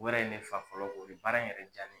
O yɛrɛ ye ne fa fɔlɔ o ye baara in yɛrɛ jaabi.